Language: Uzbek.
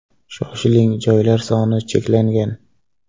Shoshiling joylar soni cheklangan!